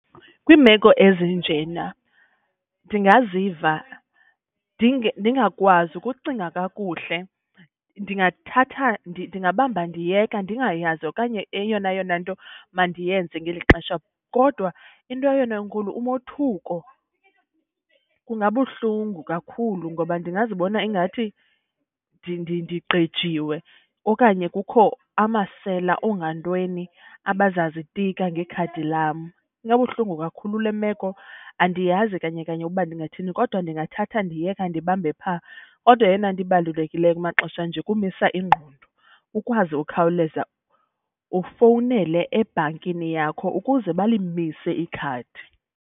Kwiimeko ezinjena ndingaziva ndingakwazi ukucinga kakuhle. Ndingathatha , ndingabamba ndiyeka ndingayazi okanye eyona yona nto mandiyenze ngeli xesha. Kodwa into eyona inkulu umothuko, kungabuhlungu kakhulu ngoba ndingazibona ingathi ndigqejiwe okanye kukho amasela, oongantweni abazazitika ngekhadi lam. Ingabuhlungu kakhulu le meko, andiyazi kanye kanye ukuba ndingathini kodwa ndingathatha ndiyeka ndibambe phaa. Kodwa eyona nto ibalulekileyo kumaxesha anje kumisa ingqondo ukwazi ukhawuleza ufowunele ebhankini yakho ukuze balimise ikhadi.